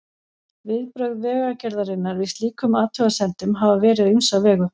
Viðbrögð Vegagerðarinnar við slíkum athugasemdum hafa verið á ýmsa vegu.